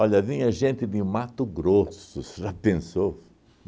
Olha, vinha gente de Mato Grosso, você já pensou?